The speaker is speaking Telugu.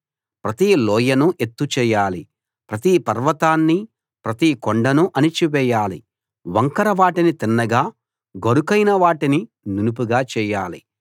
ప్రతి లోయను ఎత్తు చేయాలి ప్రతి పర్వతాన్ని ప్రతి కొండను అణిచివేయాలి వంకర వాటిని తిన్నగా గరుకైన వాటిని నునుపుగా చేయాలి